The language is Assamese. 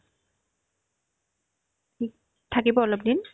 থিক ~ থাকিব অলপদিন